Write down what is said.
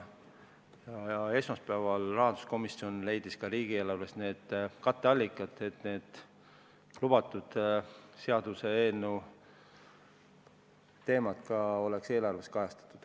Esmaspäeval leidis rahanduskomisjon riigieelarvest ka katteallikad, et seaduseelnõus lubatud teemad oleks eelarves kajastatud.